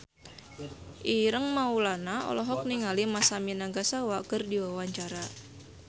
Ireng Maulana olohok ningali Masami Nagasawa keur diwawancara